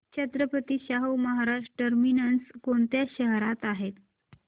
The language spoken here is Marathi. छत्रपती शाहू महाराज टर्मिनस कोणत्या शहरात आहे